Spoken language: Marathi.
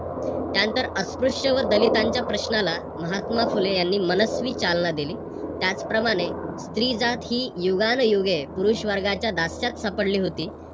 त्यानंतर अस्पृश्य व दलितांच्या प्रश्नाला महात्मा फुले यांनी मनस्वी चालना दिली. त्याचप्रमाणे स्त्री जात ही युगानुयुगे पुरुष वर्गाच्या दास्यात सापडली होती.